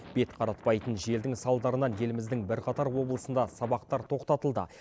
бет қаратпайтын желдің салдарынан еліміздің бірқатар облысында сабақтар тоқтатылды